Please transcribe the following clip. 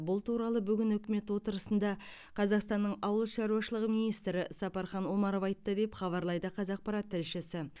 бұл туралы бүгін үкімет отырысында қазақстанның ауыл шаруашылығы министрі сапархан омаров айтты деп хабарлайды қазақпарат тілшісі